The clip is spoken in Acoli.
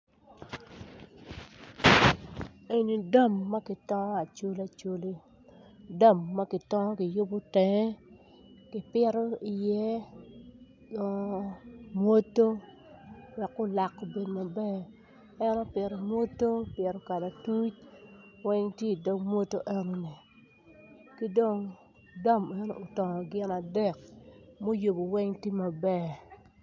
Eni dam ma kitongo acoli acoli dam ma kitongo ki yubo tenge kipito iye mwuto wek kulak obed maber en opito mwuto opito kalatuc weny tye i dog mwuto eno-ni ki dong dam eno otongo gin adek muyubo weny tye maber.